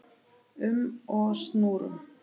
um og snúrum.